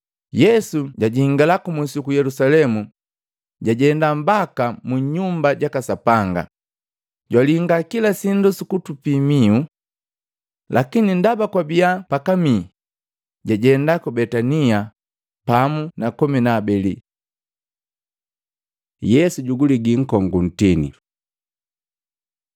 Yesu jajingala kumusi uku Yelusalemu jajenda mbaka mu Nyumba jaka Sapanga, jwalinga kila sindu sukutupii mihu. Lakini ndaba kwabia pakamii, jajenda ku Betania pamu na komi na habeli. Yesu juguliga nkongu nkoju Matei 21:18-19